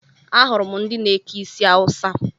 Ahụrụ m ndị na-eke isi Awusa